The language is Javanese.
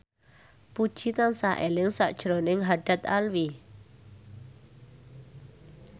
Puji tansah eling sakjroning Haddad Alwi